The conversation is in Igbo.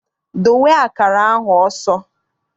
Dowe akara ahụ ọsọ!